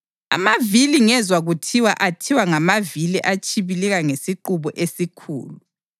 Amavili ngezwa kuthiwa athiwa “ngamavili atshibilika ngesiqubu esikhulu.”